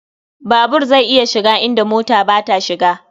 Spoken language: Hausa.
Babur zai iya shiga inda mota ba ta shiga.